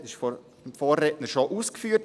Das wurde vom Vorredner bereits ausgeführt.